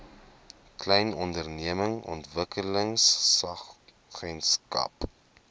klein ondernemings ontwikkelingsagentskap